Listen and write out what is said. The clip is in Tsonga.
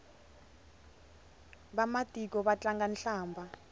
vamatiko va tlanga hlambha